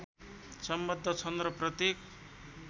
संबद्ध छन् र प्रत्येक